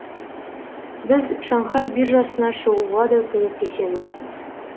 біз шанхай биржасына шығуға да көмектесеміз